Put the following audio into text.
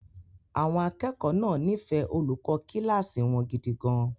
Àwọn akẹ́kọ̀ọ́ náà nífẹ̀ẹ́ olùkọ́ kíláàsì wọn gidi gan-an.